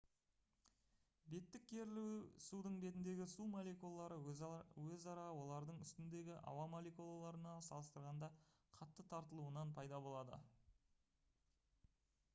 беттік керілу судың бетіндегі су молекулалары өзара олардың үстіндегі ауа молекулаларына салыстырғанда қатты тартылуынан пайда болады